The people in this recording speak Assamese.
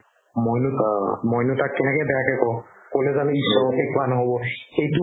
মইনো মইনো তাক কেনেকে বেয়াকে কও ক'লে জানো ঈশ্বৰকে কোৱা নহ'ব সেইটো